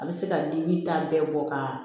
A bɛ se ka dimi ta bɛɛ bɔ kaa